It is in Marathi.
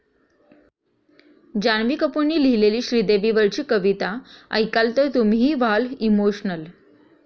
जान्हवी कपूरनं लिहिलेली श्रीदेवीवरची कविता ऐकाल तर तुम्हीही व्हाल इमोशनल